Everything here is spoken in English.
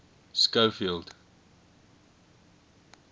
schofield